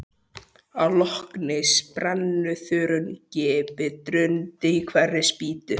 Að lokinni spennuþrunginni bið drundi í hverri spýtu.